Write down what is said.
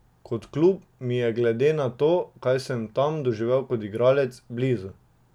Kot klub mi je glede na to, kaj sem tam doživel kot igralec, blizu.